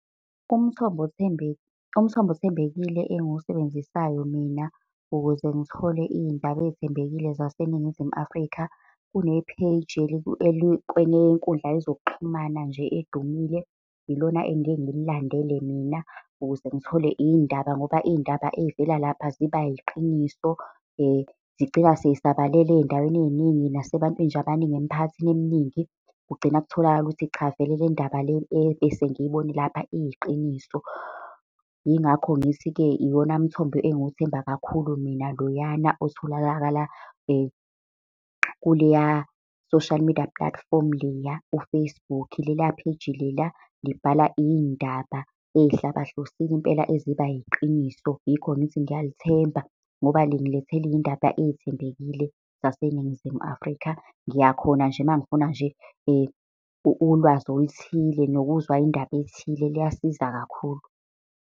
Umthombo umthombo othembekile engiwusebenzisayo mina ukuze ngithole iy'ndaba ey'thembekile zaseNingizimu Afrika, kune-page elikwenye yenkundla yezokuxhumana nje edumile, ilona engiyeke ngililandele mina ukuze ngithole iy'ndaba. Ngoba iy'ndaba ey'vela lapha ziba yiqiniso zigcina sey'sabalele ey'ndaweni eyiningi, nasebantwini nje abaningi emphakathini eminingi. Kugcina kutholakala ukuthi cha vele le ndaba le ebese ngiyibone lapha iyiqiniso. Yingakho ngithi-ke iwona mthombo engiwuthemba kakhulu mina loyana otholakala kuleya social media platform leya u-Facebook. Leliya page leliya, libhala iy'ndaba ey'hlabahlosile impela, eziba yiqiniso. Yikhona ngithi ngiyalithemba, ngoba lingilethela iy'ndaba ey'thembekile zaseNingizimu Afrika. Ngiyakhona nje uma ngifuna nje ulwazi oluthile nokuzwa indaba ethile liyasiza kakhulu.